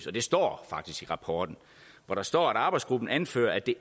og det står faktisk i rapporten for der står at arbejdsgruppen anfører at der